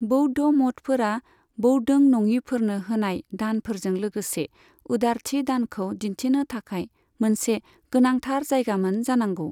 बौद्ध मठफोरा बौद्धों नङिफोरनो होनाय दानफोरजों लोगोसे उदारथि दानखौ दिन्थिनो थाखाय मोनसे गोनांथार जायगामोन जानांगौ।